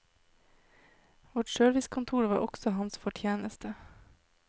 Vårt servicekontor var også hans fortjeneste.